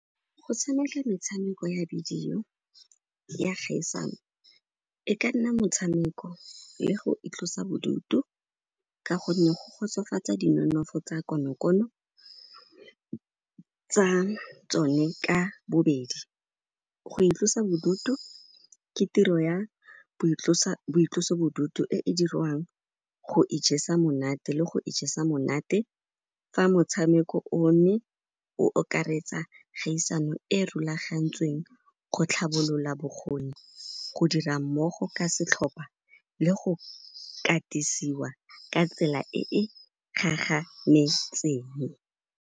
Go tshameka metshameko ya bidio ya kgaisano, e ka nna motshameko le go itlosa bodutu ka gonne go kgotsofatsa dinonofo tsa konokono tsa tsone ka bobedi. Go itlosa bodutu ke tiro ya boitloso-bodutu e e dirwang go ijesa monate le go ijesa monate ka motshameko. O ne o okaretsa kgaisano e rulagantsweng go tlhabolola bokgoni, go dira mmogo ka setlhopa le go katisiwa ka tsela e e gagametseng.